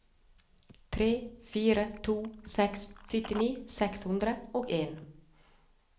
tre fire to seks syttini seks hundre og en